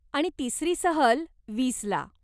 आणि तिसरी सहल वीस ला.